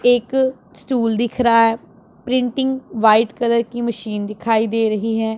एक स्टूल दिख रहा है। प्रिंटिंग व्हाइट कलर की मशीन दिखाई दे रही है।